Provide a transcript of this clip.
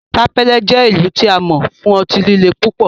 Sapele jẹ ilu ti a mọ fun ọti-lile pupọ